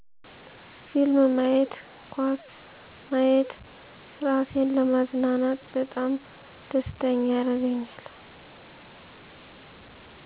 ፊልም ማየት ኳስ ማየት እራሴን ለማዝናናት በጣም ደስተኛ ያረገኛል